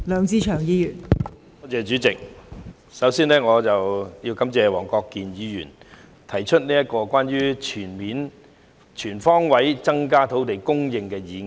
代理主席，我首先要感謝黃國健議員提出"全方位增加土地供應"議案。